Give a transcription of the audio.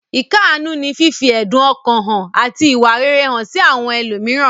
Ìkáàánú ní fífi ẹ̀dun ọkàn hàn àti ìwà rere hàn sí àwọn ẹlòmíràn.